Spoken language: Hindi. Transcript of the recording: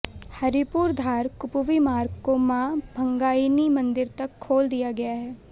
हरिपुरधार कुपवी मार्ग को मां भंगाइणी मंदिर तक खोल दिया गया है